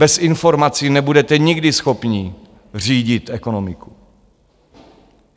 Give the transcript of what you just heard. Bez informací nebudete nikdy schopni řídit ekonomiku.